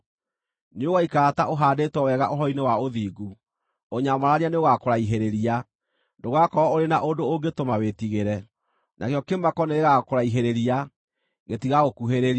Nĩũgaikara ta ũhaandĩtwo wega ũhoro-inĩ wa ũthingu: Ũnyamarania nĩũgakũraihĩrĩria; ndũgakorwo ũrĩ na ũndũ ũngĩtũma wĩtigĩre. Nakĩo kĩmako nĩgĩgakũraihĩrĩria; gĩtigagũkuhĩrĩria.